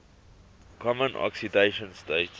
common oxidation state